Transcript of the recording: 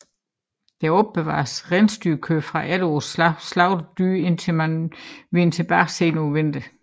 Der opbevaredes rensdyrkød fra efterårets slagtede dyr indtil man vendte tilbage sent på vinteren